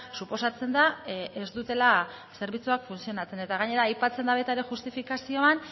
suposatzen da ez dutela zerbitzuak funtzionatzen eta gainera aipatzen da baita ere justifikazioan